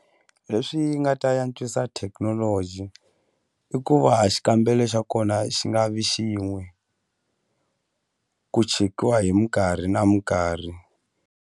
Leswi nga ta antswisa thekinoloji i ku va xikambelo xa kona xi nga vi xin'we ku chekiwa hi minkarhi na minkarhi.